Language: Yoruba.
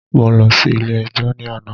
Mo lọ sí ilé ẹjọ́ ní àná.